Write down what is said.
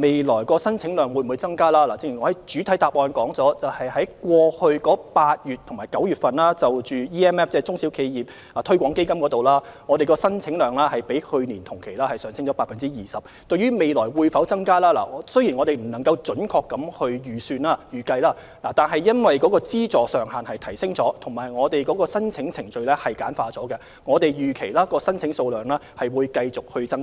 未來的申請宗數會否增加，正如我在主體答覆中提到，今年8月及9月，中小企業市場推廣基金的申請宗數比去年同期上升了 20%， 雖然我們現時未能準確預計，但因為資助上限已有所提升，而申請程序也較以往簡單，我們預期申請宗數會繼續增加。